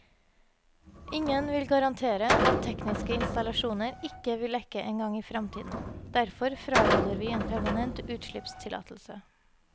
Ingen vil garantere at tekniske installasjoner ikke vil lekke en gang i fremtiden, derfor fraråder vi en permanent utslippstillatelse.